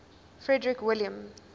frederick william